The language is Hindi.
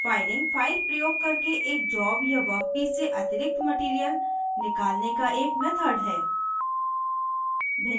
फाइलिंग फ़ाइल प्रयोग करके एक जॉब या वर्कपीस से अतिरिक्त मटीरीअल निकालने का एक मेथड है